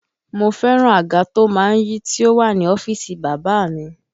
Mo fẹ́ràn àga to má ń yí tí ó wà ní ọ́fíìsì bàbá a mi